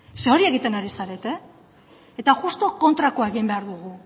ze hori egiten ari zarete eta justu kontrakoa egin behar dugu